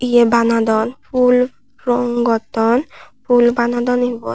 eyeh banadon phul rong gotton phul banadon ebot.